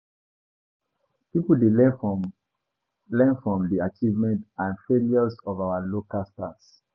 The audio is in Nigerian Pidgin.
Pipo dey learn from learn from di achievements and failures of our local stars.